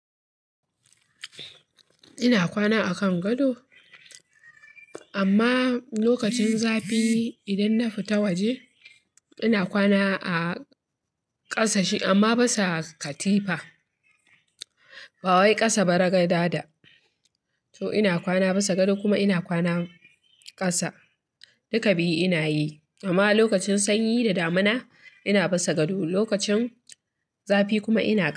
Ina kwana a kan gado amma lokacin zafi idan na fita waje ina kwana a ƙasa amma bisa katifa. Ba wai ƙasa ba raga dada. To ina kwana basa gado kuma ina kwana ƙasa. Duka biyu ina yi amma lokacin sanyi da damina ina bisa gado lokacin zafi kuma ina ƙasa.